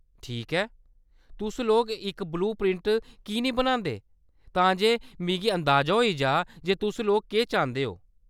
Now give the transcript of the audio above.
ठीक ऐ, तुस लोक इक ब्लू प्रिंट की नेईं बनांदे, तां जे मिगी अंदाजा होई जाऽ जे तुस लोक केह्‌‌ चांह्‌‌‌दे ओ।